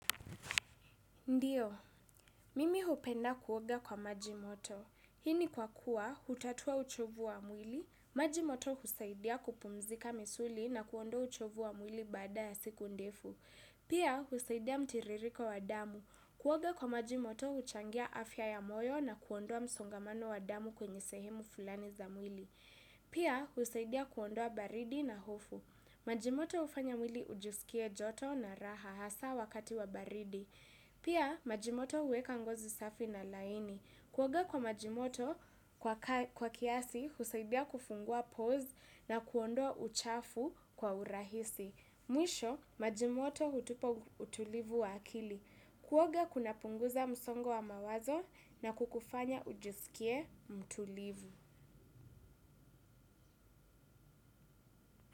Ndiyo, mimi hupenda kuoga kwa maji moto. Hii ni kwa kuwa, utatoa uchovu wa mwili, maji moto husaidia kupumzika misuli na kuondoa uchovu wa mwili baada ya siku ndefu. Pia, husaidia mtiririko wa damu. Kuoga kwa maji moto, huchangia afya ya moyo na kuondoa wa msongamano wa damu kwenye sehemu fulani za mwili. Pia, husaidia kuondoa wa baridi na hofu. Majimoto hufanya mwili ujisikie joto na raha hasa wakati wa baridi. Pia majimoto huweka ngozi safi na laini. Kuoga kwa maji moto kwa kiasi husaidia kufungua pose na kuondoa uchafu kwa urahisi. Mwisho maji moto hutupa utulivu wa akili. Kuoga kuna punguza msongo wa mawazo na kukufanya ujisikie mtulivu.